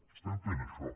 estem fent això